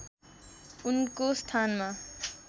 उनको स्थानमा